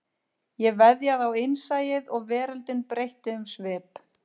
Ég veðjaði á innsæið og veröldin breytti um svip